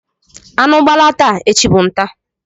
Anụ gbalaa taa, echi bụ ntá.